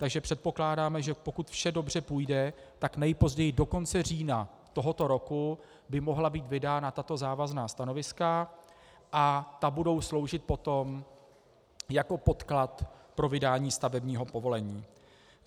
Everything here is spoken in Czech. Takže předpokládáme, že pokud vše dobře půjde, tak nejpozději do konce října tohoto roku by mohla být vydána tato závazná stanoviska a ta budou sloužit potom jako podklad pro vydání stavebního povolení.